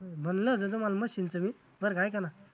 म्हंटल होतं मला machine च बी बरं का, ऐका ना.